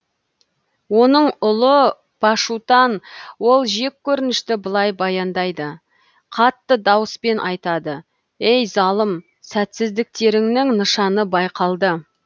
оның ұлы пашутан ол жек көрінішті былай баяндайды қатты дауыспен айтады ей залым сәтсіздіктеріңнің нышаны байқалды